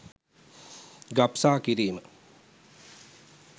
ගබ්සා කිරීම